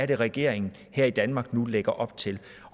det regeringen her i danmark nu lægger op til